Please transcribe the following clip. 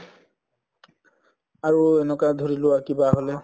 আৰু এনেকুৱা ধৰি লোৱা কিবা হʼলে